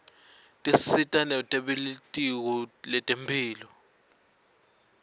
tisita nebelitiko letemphilo